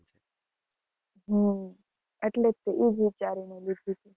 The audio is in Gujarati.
હમ એટલે તો easy